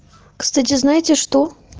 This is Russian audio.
кстати знаете что